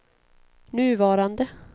nuvarande